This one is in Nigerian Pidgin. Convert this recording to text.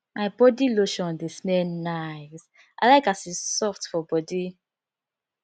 my body lotion dey smell nice i like as e soft for body